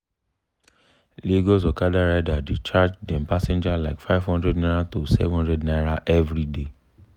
lagos okada rider dey charge dem passenger like n500 to n700 everyday.